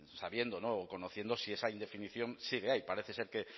sabiendo y conociendo si esa indefinición sigue ahí parece ser que